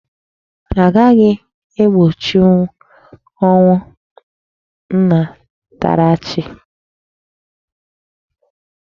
Anaghị egbochinwu ọnwụ nnatarachi.